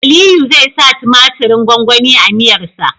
Aliyu zai sa tumatirin gwangwani a miyar sa